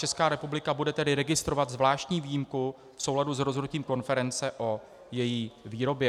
Česká republika bude tedy registrovat zvláštní výjimku v souladu s rozhodnutím konference o její výrobě.